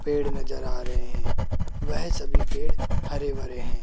पेड़ नजर आ रहे हैं वह सभी पेड़ हरे भरे हैं।